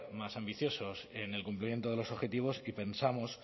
más ambiciosos en el cumplimiento de los objetivos y pensamos